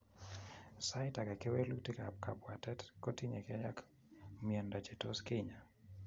Saita agee kewelutik ab kabwatet kotinyegei ak mieindoo che tos kenyaa